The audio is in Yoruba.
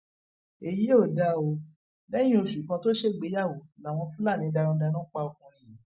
èyí ò dáa o lẹyìn oṣù kan tó ṣègbéyàwó làwọn fúlàní darandaran pa ọkùnrin yìí